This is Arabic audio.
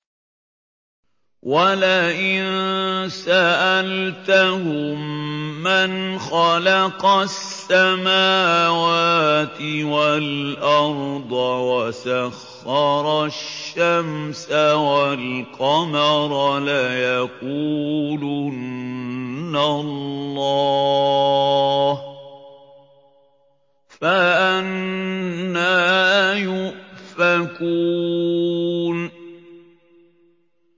وَلَئِن سَأَلْتَهُم مَّنْ خَلَقَ السَّمَاوَاتِ وَالْأَرْضَ وَسَخَّرَ الشَّمْسَ وَالْقَمَرَ لَيَقُولُنَّ اللَّهُ ۖ فَأَنَّىٰ يُؤْفَكُونَ